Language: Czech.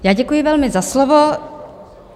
Já děkuji velmi za slovo.